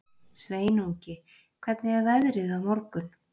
Sveinungi, hvernig er veðrið á morgun?